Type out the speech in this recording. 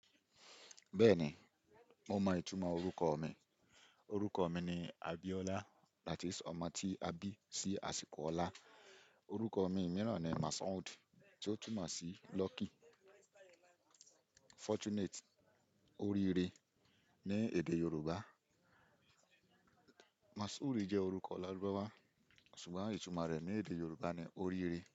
Bẹ́ẹ̀ni, mo mọn ìtumọ̀ orúkọ mi. Orúkọ mi ni Abiola, that is ọmọ tí a bí sí àsìkò ọlá. Orúkọ mi mìíràn ni Mashood, tí ó túmọ̀ sí Lucky, fortunate, oríire ní èdè Yorùbá. Mashoo jẹ́ orúkọ Lárúbáwá, ṣùgbọ́n ìtumọ̀ rẹ̀ ní èdè Yorùbá ni oríire.